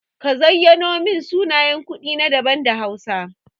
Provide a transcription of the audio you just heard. Ka zayyano min sunayen kuɗi da hausa.